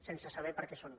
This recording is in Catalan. sense saber per a què són